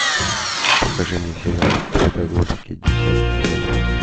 покажи мне сериал трудоголики десятый сезон